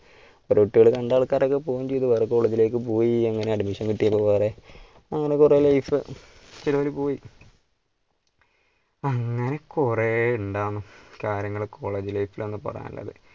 കുറെ കുട്ടികൾ കണ്ട ആൾക്കാരൊക്കെ പോവുകയും ചെയ്തു വേറെ college life ലേക്ക് പോയി അങ്ങനെ admission കിട്ടി വേറെ അങ്ങനെ കുറെ life പിന്നെ അവര്പോയി അങ്ങനെ കുറെ ഇണ്ടാന്ന് കാര്യങ്ങൾ college life പറയാൻ ഉള്ളത്.